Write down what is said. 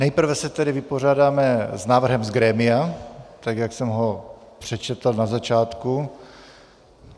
Nejprve se tedy vypořádáme s návrhem z grémia, tak jak jsem ho přečetl na začátku.